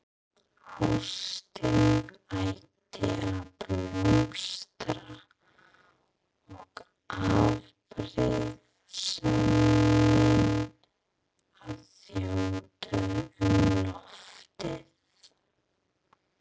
Ástin átti að blómstra og afbrýðisemin að þjóta um loftið.